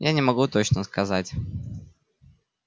я не могу точно сказать